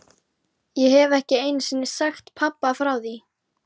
Ég hef ekki einu sinni sagt pabba frá því.